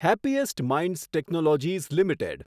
happiest Minds Technologies limited